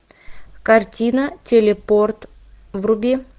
картина телепорт вруби